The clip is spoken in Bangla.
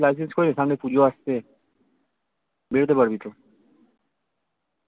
license করে নে সামনে পুজো আসছে বেরতে পারবি তো